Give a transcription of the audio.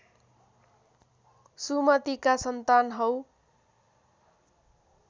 सुमतिका सन्तान हौ